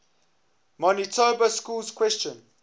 manitoba schools question